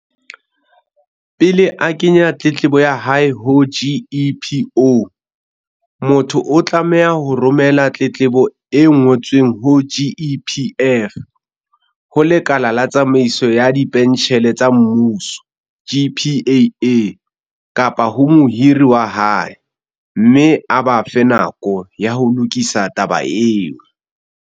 Pele a kenya tletlebo ya hae ho GEPO, motho o tlameha ho romela tletlebo e ngo tsweng ho GEPF, ho Lekala la Tsamaiso ya Dipentjhele tsa Mmuso, GPAA, kapa ho mohiri wa hae, mme a ba fe nako ya ho lokisa taba eo.